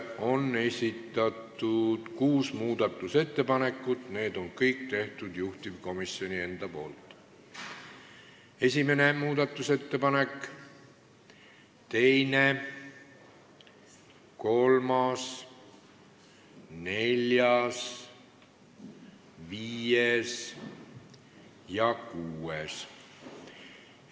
On esitatud kuus muudatusettepanekut, kõik juhtivkomisjoni enda tehtud: esimene, teine, kolmas, neljas, viies ja kuues.